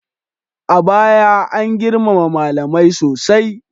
A baya, an girmama malamai sosai.